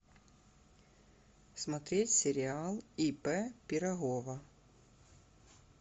смотреть сериал ип пирогова